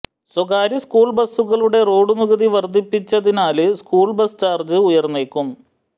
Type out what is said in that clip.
സ്വകാര്യസ്കൂള് ബസുകളുടെ റോഡ് നികുതി വര്ധിപ്പിച്ചതിനാല് സ്കൂള് ബസ് ചാര്ജ് ഉയര്ന്നേക്കും